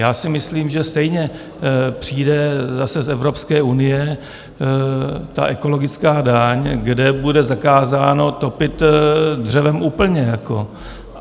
Já si myslím, že stejně přijde zase z Evropské unie ta ekologická daň, kde bude zakázáno topit dřevem úplně.